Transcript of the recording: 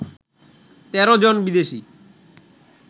১৩ জন বিদেশী